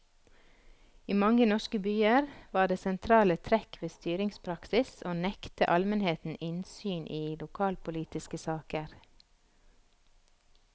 I mange norske byer var det sentrale trekk ved styringspraksis å nekte almenheten innsyn i lokalpolitiske saker.